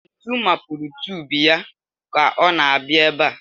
Ntu mapurù tùbù ya ka ọ na-abịa ebe a